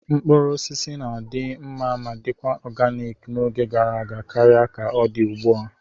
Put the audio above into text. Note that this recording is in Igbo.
Mkpụrụ osisi na-adị mma ma dikwa oganik n'oge gara aga karịa ka ọ dị ugbu a.